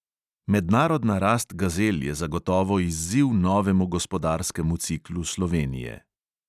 Mednarodna rast gazel je zagotovo izziv novemu gospodarskemu ciklu slovenije.